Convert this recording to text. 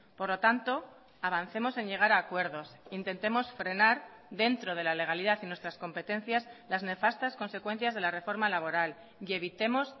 por lo tanto avancemos en llegar a acuerdos intentemos frenar dentro de la legalidad y nuestras competencias las nefastas consecuencias de la reforma laboral y evitemos